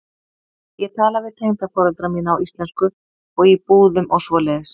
Ég tala við tengdaforeldra mína á íslensku og í búðum og svoleiðis.